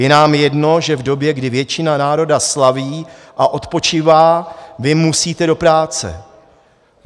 Je nám jedno, že v době, kdy většina národa slaví a odpočívá, vy musíte do práce.